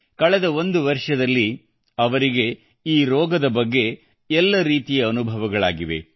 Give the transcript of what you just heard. ಕಳೆದ ಒಂದು ವರ್ಷದಲ್ಲಿ ಅವರಿಗೆ ಈ ರೋಗದ ಬಗ್ಗೆ ಎಲ್ಲ ರೀತಿಯ ಅನುಭವಗಳಾಗಿವೆ